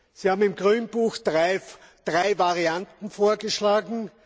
Sie haben im Grünbuch drei Varianten vorgeschlagen.